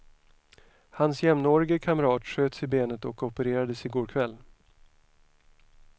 Hans jämnårige kamrat sköts i benet och opererades i går kväll.